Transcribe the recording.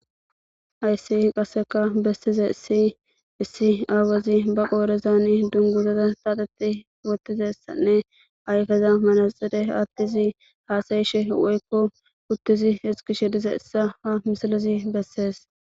Ayssi qasseka bessize isi issi aawezi ba qoorezani dungizaza saaxeti wottizessanne aykeza manaxide attizi haasayishe woykko kuttizi iskishe diza issa ha misilezi bessees.